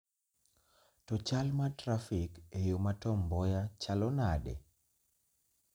To chal ma trafik e yo ma Tom Mboya chalo nade?